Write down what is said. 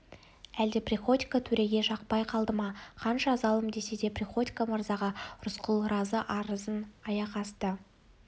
әлде приходько төреге жақпай қалды ма қанша залым десе де приходько мырзаға рысқұл разы арызын аяқасты